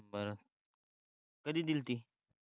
बर कधी दिलती?